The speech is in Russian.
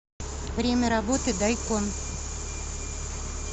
время работы дайкон